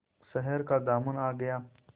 शहर का दामन आ गया